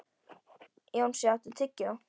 Jónsi, áttu tyggjó?